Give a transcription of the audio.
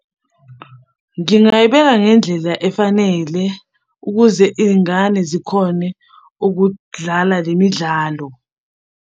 Ngingayibeka ngendlela efanele ukuze iy'ngane zikhone ukudlala le midlalo.